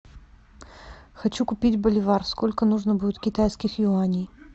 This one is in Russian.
хочу купить боливар сколько нужно будет китайских юаней